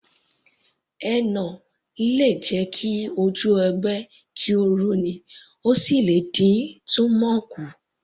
Henna lè jẹ ki ojú ogbe kí ó rọ ní, ó sì lè dín túmọ̀ kù